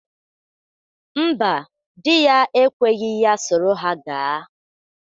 Mba, dị ya ekweghi ya soro ha gaa.